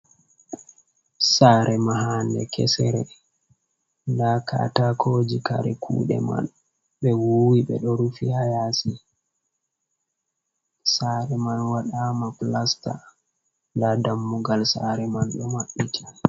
Saare mahaande kesere, ndaa kataakoji kare kuɗe man ɓe wuwi ɓe ɗo rufi haa yaasi. Saare man waɗaama plasta, ndaa dammugal saare man ɗo maɓɓiti.